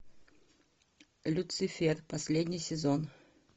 люцифер последний сезон